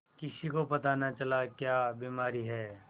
किसी को पता न चला क्या बीमारी है